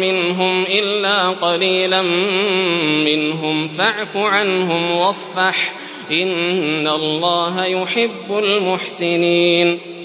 مِّنْهُمْ إِلَّا قَلِيلًا مِّنْهُمْ ۖ فَاعْفُ عَنْهُمْ وَاصْفَحْ ۚ إِنَّ اللَّهَ يُحِبُّ الْمُحْسِنِينَ